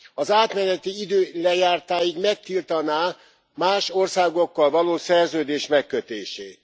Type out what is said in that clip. Az átmeneti idő lejártáig megtiltaná más országokkal való szerződés megkötését.